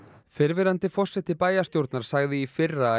fyrrverandi forseti bæjarstjórnar sagði í fyrra að